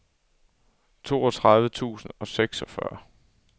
toogtredive tusind og seksogfyrre